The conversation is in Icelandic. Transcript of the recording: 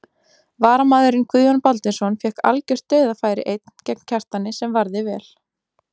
Varamaðurinn Guðjón Baldvinsson fékk algjört dauðafæri einn gegn Kjartani sem varði vel.